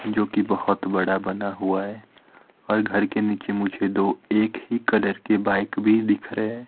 जो कि बहुत बड़ा बना हुआ है और घर के नीचे मुझे दो एक ही कलर के बाइक भी दिख रहे है।